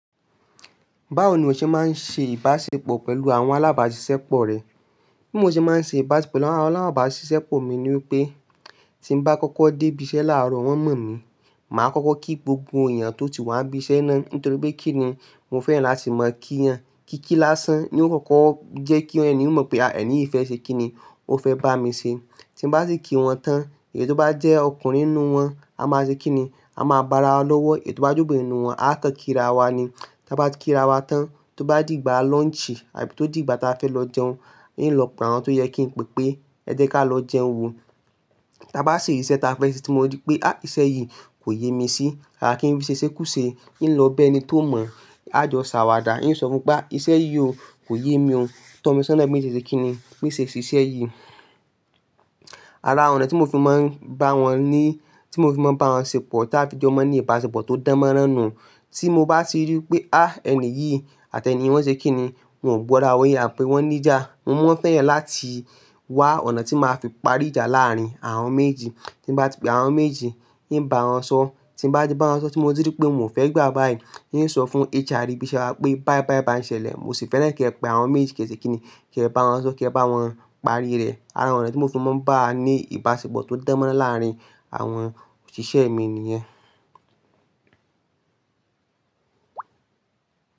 Báwo ni o ṣe máa ń ṣe ìbáṣepọ̀ pẹ̀lú àwọn alábàáṣiṣẹ́ pọ̀ rẹ? Bí mo ṣe máa ń ṣe ìbáṣepọ̀ láwọn alábàáṣiṣẹ́ pọ̀ mi ni wípé tí n bá kọ́kọ́ dé ibi iṣẹ́ láàárọ̀ wọ́n mọ̀ mí, màá kọ́kọ́ kí gbogbo èèyàn tó ti wá ibi iṣẹ́ náà nítorí pé kí ni mo fẹ́ràn láti mọ kí yàn Kíkí lásán ni ó kọ́kọ́ jẹ́ kí ẹnuyàn mọ̀ pé à ẹni yìí fẹ́ ṣe kí ni ó fẹ́ bá mi ṣe. Tí n bá sì kí wọn tán, èyí tó bá jẹ́ ọkùnrin nínú wọn, a máa jẹ kí ni, a máa bá ara lọ́wọ́, èyí tó bá jẹ́ obìnrin nínú wọn, a kọ́ kí ra wa ni. Tí a bá ti kí ra wa tán, tó bá dìgbà launch àbí tó dìgbà tí a fẹ́ lọ jẹun, yóò lọ pọ̀ mọ́ àwọn tó yẹ kí n pe pé ẹ jẹ́ ká lọ jẹun wo. Tí a bá ṣe ìṣe tí a fẹ́ ṣe tí mo rí pé á ìṣe yìí kò yé mi sí, kàká kí n rí ṣe ṣé kú ṣé, e lọ bẹ ẹni tó mọ̀, a jọ ṣàwàdà, e sọ fún pé bá ìṣe yìí o, kò yé mi o. Tọ́ mi sọ́nà bí mo ti ṣe kí ni, bí mo ṣe ṣíṣe yìí. Ara ọ̀nà tí mo fi máa ń bá wọn ni, tí mo fi máa ń bá wọn ṣẹ̀pọ̀ táa fi jẹ́ mọ ní ìbáṣepọ̀ tó dánmọ́ránù. Tí mo bá ti rí pé á ẹni yìí àti ẹni yẹn wọ́n ṣe kí ni, wọ́n ò búra wa yẹn àbí wọ́n níjà, mo máa fẹ́ràn láti wá ọ̀nà tí màá fi parí ìjà láàrín àwọn méjìjì Tí n bá ti pé àwọn méjì, e ń bá wọn sọ́. Tí n bá ti bá wọn sọ tí mo rí pé mò fẹ́ gbà báyìí, e ń sọ fún HR ebíṣẹ́ wa pé báí báí bá ń ṣẹlẹ̀, mo sì fẹ́ràn kí ẹ pe àwọn méjì kì í ṣe kí ni, kí ẹ bá wọn sọ́, kí ẹ bá wọn parí rẹ̀. Ara ọ̀nà tí mo fi máa ń bá a ní ìbáṣepọ̀ tó dánmọ́ránù láàrín àwọn òṣìṣẹ́ mi nìyẹn.